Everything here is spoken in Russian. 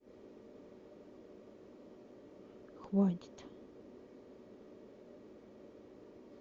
хватит